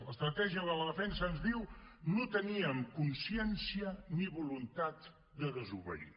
l’estratègia de la defensa ens diu no teníem consciència ni voluntat de desobeir